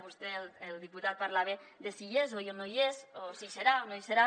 vostè el diputat parlava de si hi és o no hi és o si hi serà o no hi serà